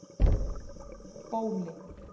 Bóli